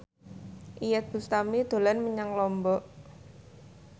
Iyeth Bustami dolan menyang Lombok